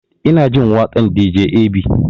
Ina jin waƙan dj ab